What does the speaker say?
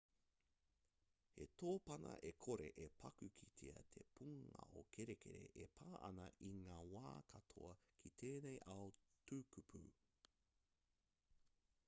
he tōpana e kore e paku kitea te pūngao kerekere e pā ana i ngā wā katoa ki tēnei ao tukupū